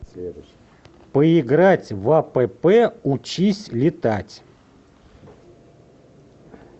поиграть в апп учись летать